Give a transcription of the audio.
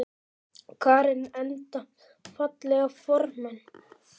Karen: Enda fallegir formenn?